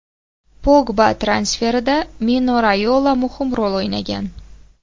Pogba transferida Mino Rayola muhim rol o‘ynagan.